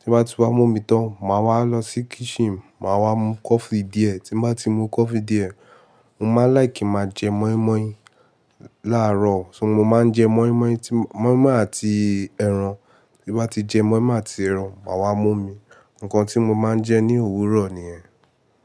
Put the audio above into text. tí bá ti wá mú omi tán, màá wá lọ sí kitchen, màá wá mú coffee díẹ̀. Tí bá ti mú coffee díẹ̀, mo máa láìkí máa jẹ mọ́ímọ́í làárọ̀, ṣó mo máa ń jẹ mọ́ímọ́í, tí mọ́ímọ́í àti ẹran. Tí bá ti jẹ mọ́ímọ́í àti ẹran, màá wá mú omi. Ǹkan tí mo máa ń jẹ ní òwúrọ̀ nìyẹn.